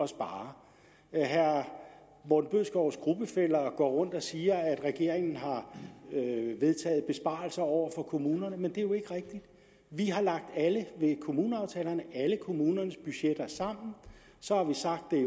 spare herre morten bødskovs gruppefæller går rundt og siger at regeringen har vedtaget besparelser over for kommunerne men det er jo ikke rigtigt vi har ved kommuneaftalerne alle kommunernes budgetter sammen og så har vi sagt det er